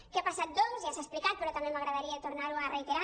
què ha passat doncs ja s’ha explicat però també m’agradaria tornar·ho a rei·terar